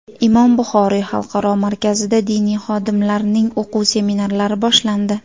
Imom Buxoriy Xalqaro markazida diniy xodimlarning o‘quv seminarlari boshlandi.